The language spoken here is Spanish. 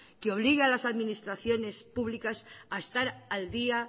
que obligue a las administraciones públicas a estar al día